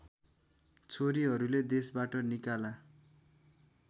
छोरीहरुले देशबाट निकाला